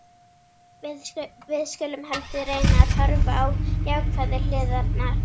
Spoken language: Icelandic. Við skulum heldur reyna að horfa á jákvæðu hliðarnar.